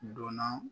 Donna